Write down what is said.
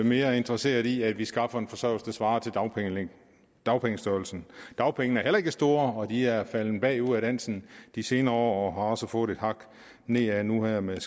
mere interesseret i at vi skaffer en forsørgelse der svarer til dagpengestørrelsen dagpengene er heller ikke store og de er faldet bagud af dansen de senere år og også fået et hak nedad nu her med